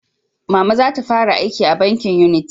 Mama za ta fara aiki a bankin Unity